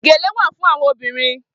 Gélé wà fún áwòn óbìrín